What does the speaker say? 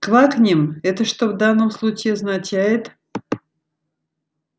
квакнем это что в данном случае означает